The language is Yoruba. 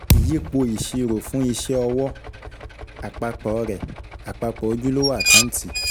Ìyípo ìṣirò fún iṣẹ́ ọwọ́, àpapọ̀ rẹ̀, àpapọ̀ ojúlówó àkáǹtì.